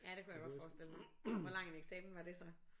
Ja det kunne jeg godt forestille mig. Hvor lang en eksamen var det så?